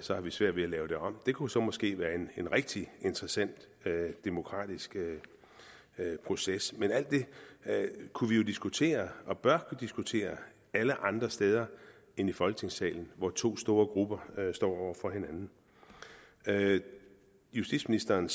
så har vi svært ved at lave det om det kunne så måske være en rigtig interessant demokratisk proces men alt det kunne vi diskutere og bør diskutere alle andre steder end i folketingssalen hvor to store grupper står over for hinanden justitsministerens